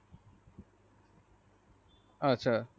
আচ্ছা